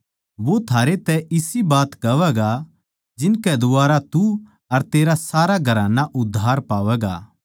वो थारै तै इसी बात कहवैगा जिनकै द्वारा तू अर तेरा सारा घराना उद्धार पावैगा